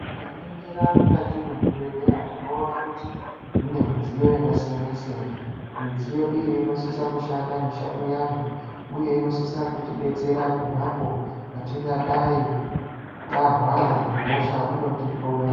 Tikaningira mukati mezvibhedhlera tinoona kuti mune midziyo yakasiyana-siyana. Midziyo iyo inosisa kushanda mishando yayo uye inosisa kutidetsera ponapo petingadai tarwara ngehosha inotihloya.